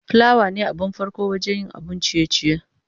plawa ne abin farko wajen yin abun ciye-ciye.